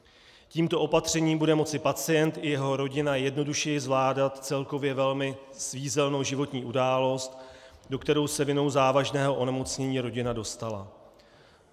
Tímto opatřením budou moci pacient i jeho rodina jednodušeji zvládat celkově velmi svízelnou životní událost, do které se vinou závažného onemocnění rodina dostala.